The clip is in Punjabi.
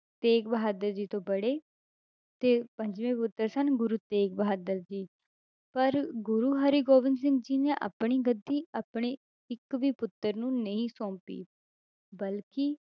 ਤੇਗ ਬਹਾਦਰ ਜੀ ਤੋਂ ਬੜੇ ਤੇ ਪੰਜਵੇਂ ਪੁੱਤਰ ਸਨ ਗੁਰੂ ਤੇਗ ਬਹਾਦਰ ਜੀ, ਪਰ ਗੁਰੂ ਹਰਿਗੋਬਿੰਦ ਸਿੰਘ ਜੀ ਨੇ ਆਪਣੀ ਗੱਦੀ ਆਪਣੇ ਇੱਕ ਵੀ ਪੁੱਤਰ ਨੂੰ ਨਹੀਂ ਸੋਂਪੀ ਬਲਕਿ